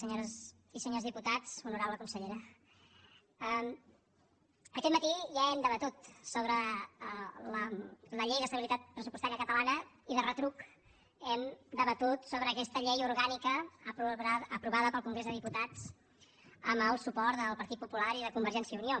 senyores i senyors diputats honorable consellera aquest matí ja hem debatut sobre la llei d’estabilitat pressupostària catalana i de retruc hem debatut sobre aquesta llei orgànica aprovada pel congrés dels diputats amb el suport del partit popular i de convergència i unió